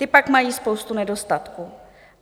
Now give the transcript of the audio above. Ty pak mají spoustu nedostatků.